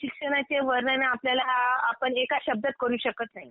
शिक्षणाचे वर्णन हे आपल्याला आपण हे काय शब्दात करू शकत नाही.